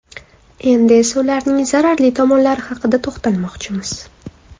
Endi esa ularning zararli tomonlari haqida to‘xtalmoqchimiz.